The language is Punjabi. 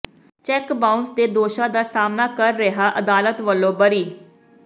ਚੈੱਕ ਬਾਊਾਸ ਦੇ ਦੋਸ਼ਾਂ ਦਾ ਸਾਹਮਣਾ ਕਰ ਰਿਹਾ ਅਦਾਲਤ ਵਲੋਂ ਬਰੀ